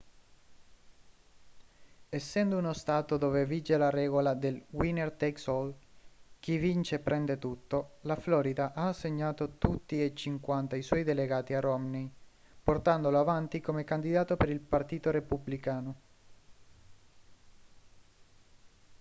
essendo uno stato dove vige la regola del winner takes all chi vince prende tutto la florida ha assegnato tutti e cinquanta i suoi delegati a romney portandolo avanti come candidato per il partito repubblicano